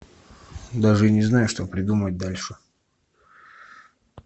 даже не знаю что придумать дальше